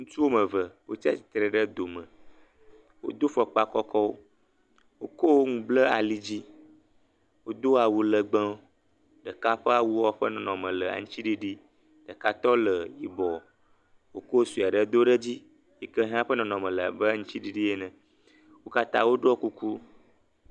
ŋutsu wɔmeve wó tsa titre ɖe do me wodó fɔkpa kɔkɔwo wokó ŋu ble ali dzi wodó awu legbewo ɖeka ƒe awuɔ ƒe nɔnɔme le aŋtsiɖiɖi ɖeka tɔ la yibɔ wokó soaɖe dó ɖe dzi wókatã wóɖɔ kuku